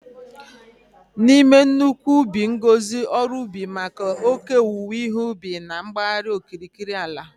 N'ime nnukwu ubi ngọzi ọrụ ugbo maka oke owuwe ihe ubi na-agbagharị n'okirikiri ala.